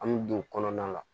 An bɛ don kɔnɔna la